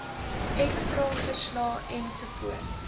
x straalverslae ensovoorts